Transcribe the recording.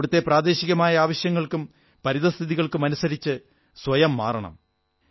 അവിടത്തെ പ്രാദേശികമായ ആവശ്യങ്ങൾക്കും പരിതഃസ്ഥിതികൾക്കുമനുസരിച്ച് സ്വയം മാറണം